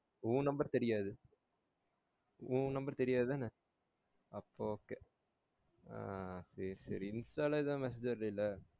உன் number தெரியாது உன் number தெரியாது தான அப்போ okay ஆஹ் சேரி சேரி Insta ல ஏதும் message வரலைல